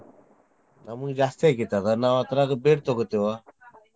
ನಮ್ಗ್ ಜಾಸ್ತಿ ಆಕ್ಕೇತಿ ಅದ ನಾ ಅದ್ರಾಗ ಬೇಡ್ ತಗೋತೇವ .